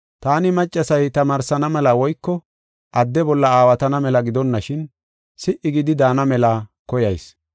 Taani maccasay tamaarsana mela woyko adde bolla aawatana mela gidonashin, si77i gidi daana mela koyayis.